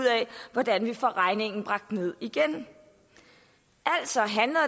hvordan vi får regningen bragt ned igen